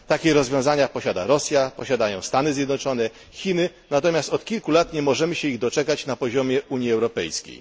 Takie rozwiązania posiada Rosja, posiadają Stany Zjednoczone, Chiny, natomiast od kilku lat nie możemy się ich doczekać na poziomie Unii Europejskiej.